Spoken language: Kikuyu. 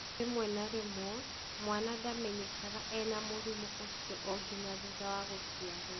Rĩmwe na rĩmwe, mwana ndamenyekaga ena mũrimũ ũcio o nginya thutha wa gũciarũo.